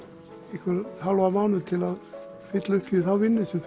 einhvern hálfan mánuð til að fylla upp í þá vinnu sem